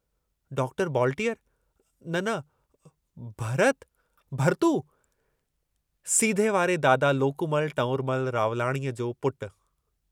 Doctor बॉलटीअर न... न... भ... र... त... भरतू... सीधे वारे दादा लोकूमल टऊंरमल रावलाणीअ जो पुटु।